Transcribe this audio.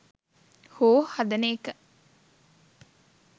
හෝ හදන එක